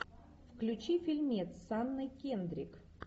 включи фильмец с анной кендрик